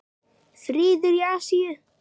Friður í Asíu.